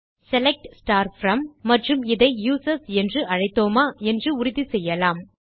select from மற்றும் இதை users என்று அழைத்தோமா என்று உறுதி செய்யலாம்